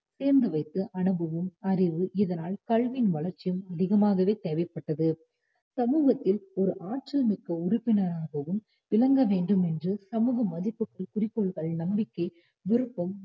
சேர்ந்து வைத்த அனுபவம், அறிவு இதானால் கல்வியின் வளர்ச்சியும் அதிகமாகவே தேவைப்பட்டது சமூகத்தில் ஓர் ஆற்றல் மிக்க உறுப்பினராகவும் விளங்கவேண்டுமென்று சமூக மதிப்புகள், குறிப்புகள், நம்பிக்கை, விருப்பம்